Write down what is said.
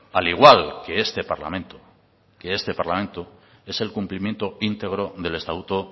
al igual que este parlamento que este parlamento es el cumplimiento íntegro del estatuto